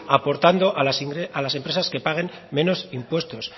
aportando a las empresas que paguen menos impuestos